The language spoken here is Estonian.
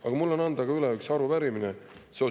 Aga mul on anda üle arupärimine valeliku poliitika kohta.